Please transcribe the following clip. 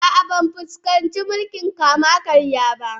A'a, ban fuskanci mulkin kama-karya ba.